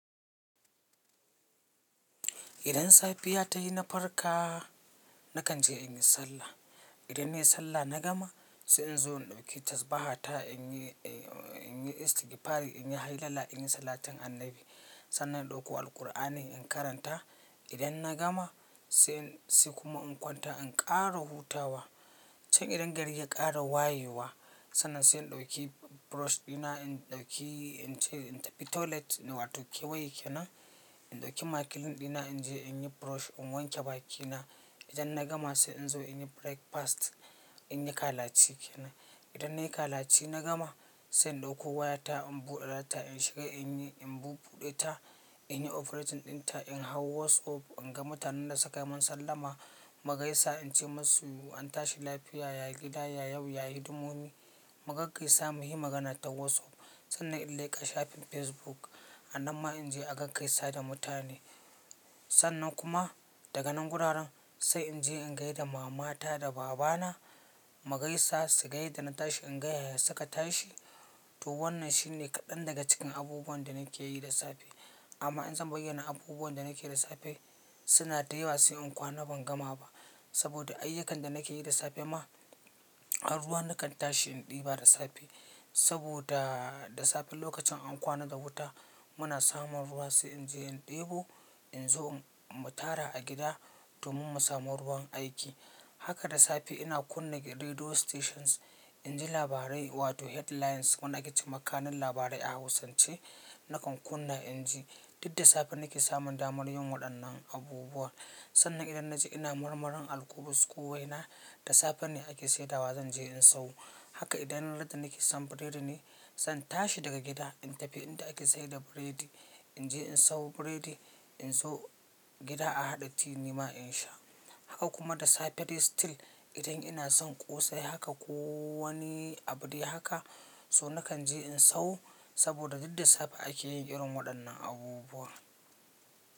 Idan safiya tayi na farka, na kan je in yi sallah. Idan nayi sallah na gama, sai in zo in ɗauki tas baha ta in yi, in yi istigifari, in yi hailala, in yi salatin annabi. Sannan in ɗauko Alqur'ani in karanta. Idan na gama, sai sai kuma in kwanta in ƙara hutawa. Can idan gari ya ƙara wayewa, sannan sai in ɗauki brush ɗina, in ɗauki, in ce in tafi toilet in wato kewaye kenan. In ɗauki makilin ɗina in je in yi brush in wanke bakina. Idan na gama sai in zo in yi breakfast, in yi kalaci kenan. Idan nayi kalaci na gama, sai in ɗauko wayata in buɗe data in shiga in yi, in bubbuɗe ta, in yi operating din ta, in hau WhatsApp in ga mutanen da suka yi mun sallama magaisa in ce masu an tashi lafiya, yayi gida, yayi yau, yayi hidimomi. Mugaggaisa mu yi magana ta WhatsApp. Sannan in leƙa shafin Facebook anan ma in je agaggaisa da mutane. Sannan kuma daga nan guraren sai in je in gaida mama ta da baba na mugaisa su ga yadda na tashi in gaya ya suka tashi. To wannan shine kaɗan daga cikin abubuwan da nake yi da safe. Amma in zan bayyana abubuwan da nake yi da safe suna da yawa sai in kwana ban gama ba. Saboda ayyukan da nake yi da safe ma, har ruwa na kan tashi in ɗiba da safe. Saboda da safe lokacin an kwana da wuta muna samun ruwa sai in je in ɗebo in zo in mu tara a gida domin mu samu ruwan aiki. Haka da safe ina kunna radio stations in ji labarai wato headlines wanda ake ce ma kanun labarai a Hausance na kan kunna in ji. Duk da safe nake samun damar yin waɗannan abubuwa. Sannan idan na ji ina marmarin alƙubus ko waina da safe ne ake saidawa zan je in sawo. Haka idan na yadda nake son biredi ne, zan tashi daga gida in tafi inda ake saida biredi. In je in sawo biredi in zo gida a haɗa tea nima in sha. Haka kuma da safe dai still idan ina son ƙosai haka ko wani abin dai haka, to na kan je in sawo saboda duk da safe ake yin irin waɗannan abubuwa.